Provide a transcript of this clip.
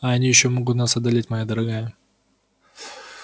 а они ещё могут нас одолеть моя дорогая